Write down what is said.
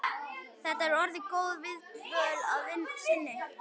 Þetta er orðin góð viðdvöl að sinni.